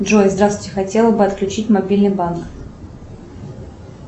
джой здравствуйте хотела бы отключить мобильный банк